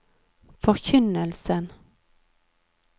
forkynnelsen